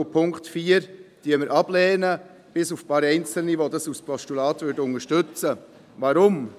Den Punkt 4 lehnen wir ab, bis auf ein paar Einzelne, die ihn als Postulat unterstützen würden.